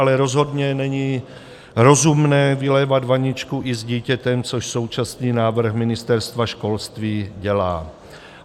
Ale rozhodně není rozumné vylévat vaničku i s dítětem, což současný návrh Ministerstva školství dělá.